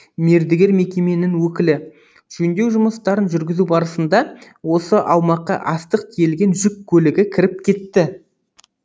мердігер мекеменің өкілі жөндеу жұмыстарын жүргізу барысында осы аумаққа астық тиелген жүк көлігі кіріп кетті